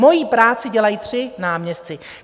Moji práci dělají tři náměstci!